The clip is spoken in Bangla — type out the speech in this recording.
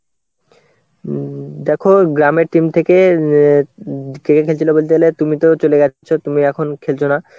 উম দেখো গ্রামের team থেকে অ্যাঁ কে কে খেলছিল বলতে গেলে তুমি তো চলে যাচ্ছ তুমি এখন খেলছো না,